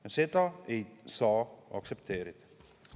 Ja seda ei saa aktsepteerida.